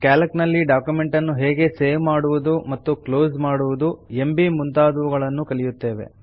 Calc ನಲ್ಲಿ document ನ್ನು ಹೇಗೆ ಸೇವ್ ಮತ್ತು ಕ್ಲೋಸ್ ಮಾಡುವುದು ಎಂಬೀ ಮುಂತಾದವುಗಳನ್ನು ಕಲಿಯುತ್ತೇವೆ